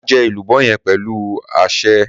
Màá jọ èlúbọ yen pẹlu àsẹ.